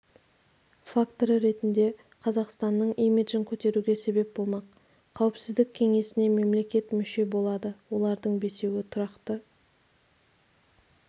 факторы ретінде қазақстанның имиджін көтеруге себеп болмақ қауіпсіздік кеңесіне мемлекет мүше болады олардың бесеуі тұрақты